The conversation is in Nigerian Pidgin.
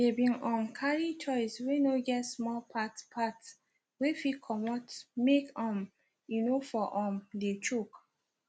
they been um carry toys wey no get small parts parts wey fit comot make um e for no um de choke